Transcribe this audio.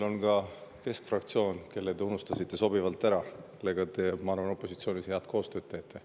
On ka keskfraktsioon, kelle te unustasite sobivalt ära, aga kellega te, ma arvan, opositsioonis head koostööd teete.